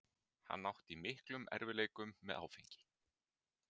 Hann átti í miklum erfiðleikum með áfengi.